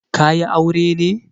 Ka yi aure ne?